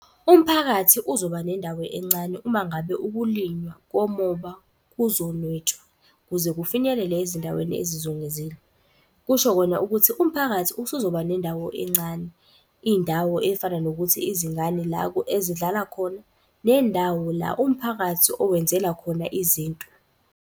Umphakathi uzoba nendawo encane uma ngabe ukulinywa komoba kuzonwetshwa kuze kufinyelele ezindaweni ezizungezile. Kusho kona ukuthi umphakathi usuzoba nendawo encane. Iy'ndawo ey'fana nokuthi izingane la ezidlala khona nendawo la umphakathi owenzela khona izinto.